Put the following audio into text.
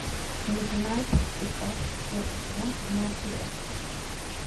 миднайт техас четвертый сезон седьмая серия